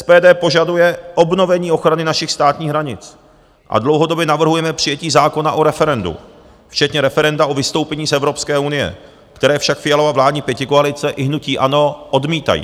SPD požaduje obnovení ochrany našich státních hranic a dlouhodobě navrhujeme přijetí zákona o referendu, včetně referenda o vystoupení z Evropské unie, které však Fialova vládní pětikoalice i hnutí ANO odmítají.